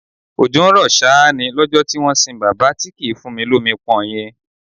Òjò ń rọ ṣáá ni lọ́jọ́ tí wọ́n sìn bàbá tí kì í fúnni lomi pọn yẹn